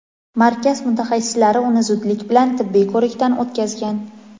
Markaz mutaxassislari uni zudlik bilan tibbiy ko‘rikdan o‘tkazgan.